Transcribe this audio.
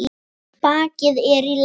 Bakið er í lagi.